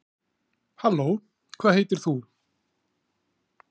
halló hvað heitir þú